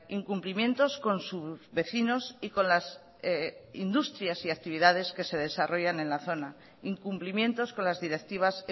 incumplimientos con sus vecinos y con las industrias y actividades que se desarrollan en la zona incumplimientos con las directivas